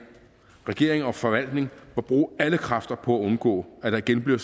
regering og forvaltning må bruge alle kræfter på at undgå at der igen bliver